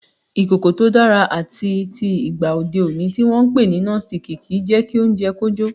Ìkòkò tó dára àtitì ìgba òde òní tí wọn ń pè ní Nọ́sitikì kì í jẹ́ kí oúnjẹ kó jó.